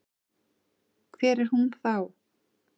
Hver er hún þá?